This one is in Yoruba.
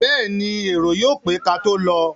Bẹ́ẹ̀ni, èrò yóò pé kátó lọ.